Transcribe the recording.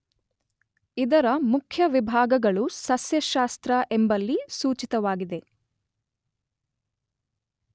ಇದರ ಮುಖ್ಯ ವಿಭಾಗಗಳು ಸಸ್ಯಶಾಸ್ರ್ತ ಎಂಬಲ್ಲಿ ಸೂಚಿತವಾಗಿವೆ.